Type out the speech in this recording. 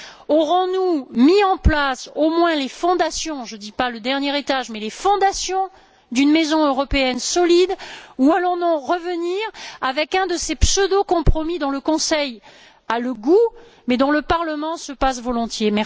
Aurons nous mis en place au moins les fondations je ne dis pas le dernier étage, mais les fondations d'une maison européenne solide, ou allons nous revenir avec un de ces pseudo compromis dont le Conseil a le goût, mais dont le Parlement se passerait volontiers?